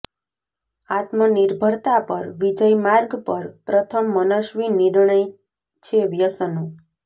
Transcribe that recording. આત્મ નિર્ભરતા પર વિજય માર્ગ પર પ્રથમ મનસ્વી નિર્ણય છે વ્યસનો